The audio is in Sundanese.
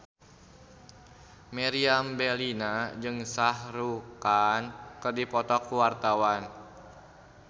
Meriam Bellina jeung Shah Rukh Khan keur dipoto ku wartawan